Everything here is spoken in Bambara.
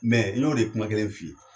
n y'o de kuma kelen f'i ye.